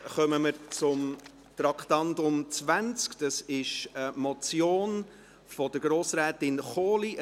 Damit kommen wir zum Traktandum 20, das ist eine Motion von Grossrätin Kohli.